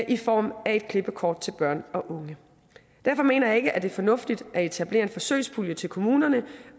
i form af et klippekort til børn og unge derfor mener jeg ikke at det er fornuftigt at etablere en forsøgspulje til kommunerne